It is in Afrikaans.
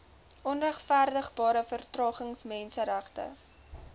onregverdigbare vertragings menseregte